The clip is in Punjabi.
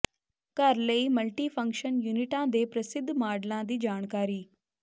ਘਰ ਲਈ ਮਲਟੀਫੰਕਸ਼ਨ ਯੂਨਿਟਾਂ ਦੇ ਪ੍ਰਸਿੱਧ ਮਾਡਲਾਂ ਦੀ ਜਾਣਕਾਰੀ